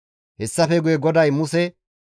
Hessafe guye GODAY Muse,